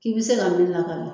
I bɛ se ka